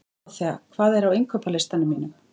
Dóróþea, hvað er á innkaupalistanum mínum?